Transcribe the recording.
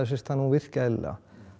hún virki eðlilega